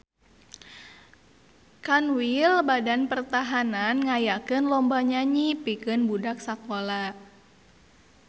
Kanwil Badan Pertahanan ngayakeun lomba nyanyi pikeun budak sakola